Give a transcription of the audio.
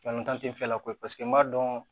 Fɛn t'an tɛ fɛ koyi paseke n b'a dɔn